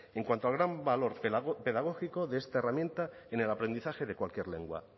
en cuanto al gran valor pedagógico de esta herramienta en el aprendizaje de cualquier lengua